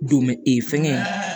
Don bɛ ee fɛngɛ